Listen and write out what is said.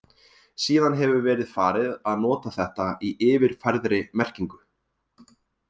Síðan hefur verið farið að nota þetta í yfirfærðri merkingu.